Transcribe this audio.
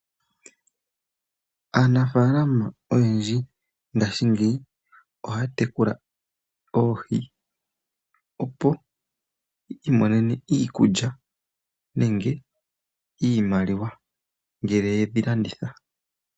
Aanafalama oyendji ngaashingeyi ohaya tekula oohi, opo yi imonene iikulya nenge iimaliwa ngele ye dhi landitha.